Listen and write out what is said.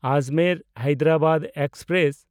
ᱟᱡᱽᱢᱮᱨ–ᱦᱟᱭᱫᱟᱨᱟᱵᱟᱫ express